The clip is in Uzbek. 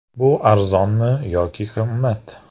Bu arzonmi yoki qimmat?.